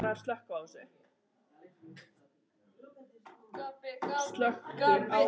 Oturinn lifir aðallega á kjöti og fiski en í neyð borðar hann afurðir úr jurtaríkinu.